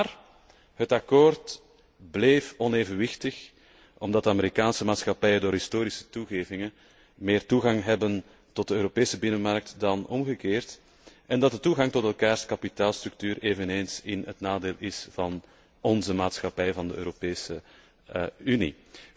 Maar het akkoord bleef onevenwichtig omdat de Amerikaanse maatschappijen door historische toegevingen meer toegang hebben tot de Europese binnenmarkt dan omgekeerd, en dat de toegang tot elkaars kapitaalstructuur eveneens in het nadeel is van onze maatschappijen in de Europese Unie.